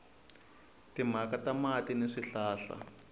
timhaka ta mati ni swihlahla